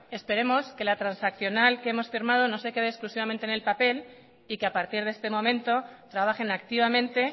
esperemos que la transaccional que hemos firmado no se queda exclusivamente en el papel y que a partir de este momento trabajen activamente